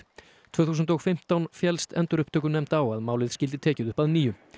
tvö þúsund og fimmtán féllst endurupptökunefnd á að málið skyldi tekið upp að nýju